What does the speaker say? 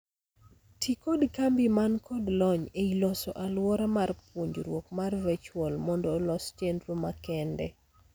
Tii kod kambi man kod lony ei loso aluora mar puonjruok mar virtual mondo olos chendro makende.